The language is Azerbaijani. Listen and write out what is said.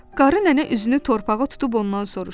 Qarı nənə üzünü torpağa tutub ondan soruşdu: